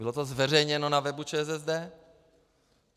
Bylo to zveřejněno na webu ČSSD.